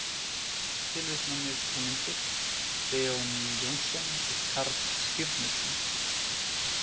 Tilvitnanir og myndir: Benóný Jónsson og Karl Skírnisson.